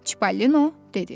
Çipallino dedi.